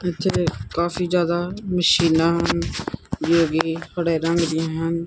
Picture ਵਿਚ ਕਾਫੀ਼ ਜਿਆਦਾ ਮਸ਼ੀਨਾਂ ਹਨ ਜਿਹੜੀਆਂ ਟਾਈਲਾਂ ਲੱਗੀਆਂ ਹਨ।